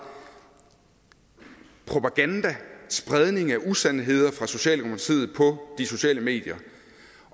propaganda og spredning af usandheder fra socialdemokratiet på de sociale medier